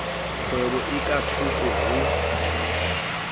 kgwebo e ka thoko ho